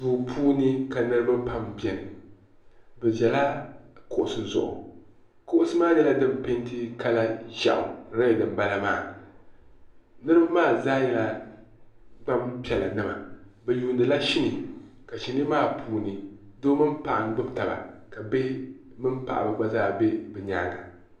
duu puuni ka niriba pam beni bɛ ʒila kuɣisi zuɣukuɣisi maa nyɛla din peenti kala ʒeɣu niriba maa zaa nyɛla gbaŋ' piɛla nima bɛ yuundila shinii ka shinii maa puuni doo mini paɣa n-gbubi taba bihi mini paɣa gba zaa be bɛ nyaaga.